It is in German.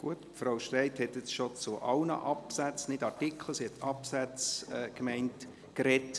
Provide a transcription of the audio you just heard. Grossrätin Streit hat Absätze gemeint und nicht Artikel, aber bereits zu allen Absätzen gesprochen.